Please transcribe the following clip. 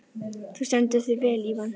Þú stendur þig vel, Ívan!